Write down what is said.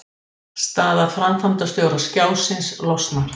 Erlendu liðin eru frá Bretlandi, Bandaríkjunum, Kanada, Færeyjum og Grænlandi.